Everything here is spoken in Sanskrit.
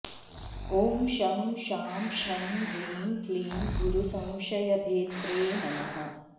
ॐ शं शां षं ह्रीं क्लीं गुरुसंशयभेत्रे नमः